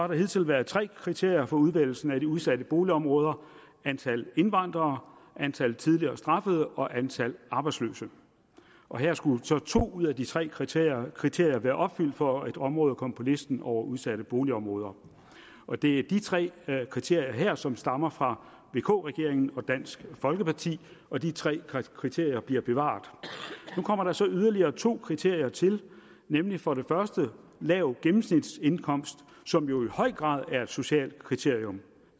der hidtil været tre kriterier for udvælgelsen af de udsatte boligområder antal indvandrere antal tidligere straffede og antal arbejdsløse og her skulle så to ud af de tre kriterier kriterier være opfyldt for at et område kom på listen over udsatte boligområder og det er de tre kriterier her som stammer fra vk regeringen og dansk folkeparti og de tre kriterier bliver bevaret nu kommer der så yderligere to kriterier til nemlig for det første lav gennemsnitsindkomst som jo i høj grad er et socialt kriterium